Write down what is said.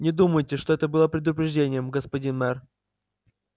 не думайте что это было предупреждением господин мэр